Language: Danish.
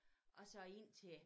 Og så indtil